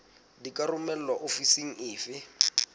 di ka romelwa ofising efe